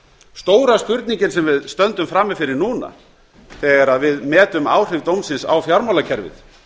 stóra spurningin sem við stöndum frammi fyrir núna þegar við metum áhrif dómsins á fjármálakerfið